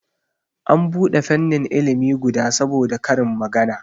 An bude fannin ilimi guda saboda karin magana